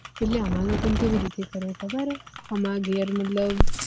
એટલે અમાર લોકો ને કેવી રીતે ખબર હૈ અમારા ઘર મતલબ